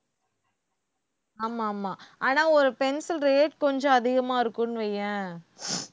ஆமா ஆமா ஆனா ஒரு pencil rate கொஞ்சம் அதிகமா இருக்கும்னு வையேன்